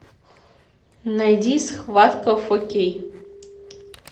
найди схватка в окей